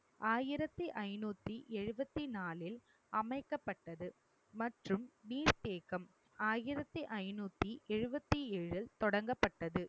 ஆயிரத்தி ஐநூத்தி எழுபத்தி நாலில் அமைக்கப்பட்டது மற்றும் நீர் தேக்கம் ஆயிரத்தி ஐநூத்து எழுபத்தி ஏழில் தொடங்கப்பட்டது